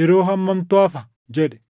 yeroo hammamtu hafa?” jedhe.